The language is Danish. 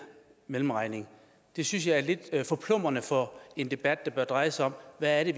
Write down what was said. mellemregning det synes jeg er lidt forplumrende for en debat der bør dreje sig om hvad det